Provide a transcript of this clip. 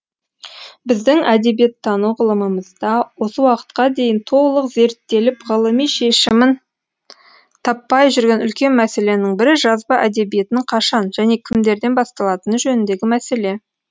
біздің әдебиеттану ғылымымызда осы уақытқа дейін толық зерттеліп ғылыми шешімін таппай жүрген үлкен мәселенің бірі жазба әдебиетінің қашан және кімдерден басталатыны жөніндегі мәселе